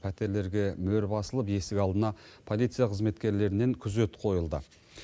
пәтерлерге мөр басылып есік алдына полиция қызметкерлерінен күзет қойылды